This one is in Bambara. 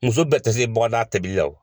Muso bɛɛ tɛ se bɔgɔdaga tɛbili la o.